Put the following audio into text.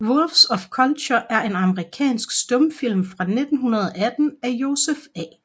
Wolves of Kultur er en amerikansk stumfilm fra 1918 af Joseph A